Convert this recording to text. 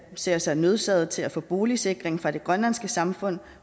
ser sig nødsaget til at få boligsikring fra det grønlandske samfund